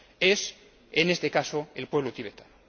es en este caso el pueblo tibetano.